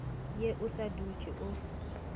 ye o sa dutse o